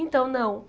Então, não.